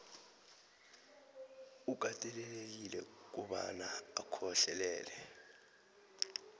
ukatelelekile kobana ukhohlelele